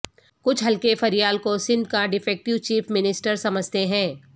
کچھ حلقے فریال کو سندھ کا ڈیفیکٹو چیف منسٹر سمجھتے ہیں